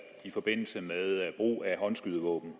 i forbindelse med brug af håndskydevåben